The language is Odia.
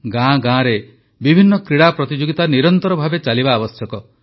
ଗାଁ ଗାଁରେ ବିଭିନ୍ନ କ୍ରୀଡ଼ା ପ୍ରତିଯୋଗିତା ନିରନ୍ତର ଭାବେ ଚାଲିବା ଆବଶ୍ୟକ